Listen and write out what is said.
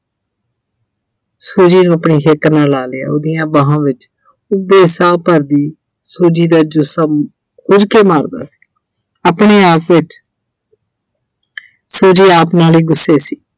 Suji ਨੂੰ ਆਪਣੀ ਹਿੱਕ ਨਾਲ ਲਾ ਲਿਆ ਉਹਦੀਆਂ ਬਾਹਾਂ ਵਿੱਚ ਉੱਭੇ ਸਾਹ ਭਰਦੀ Suji ਦਾ ਜਿਸਮ ਹੁਜਕੇ ਮਾਰਦਾ ਸੀ ਆਪਣੇ ਆਪ ਵਿੱਚ Suji ਆਪ ਨਾਲ ਹੀ ਗੁੱਸੇ ਸੀ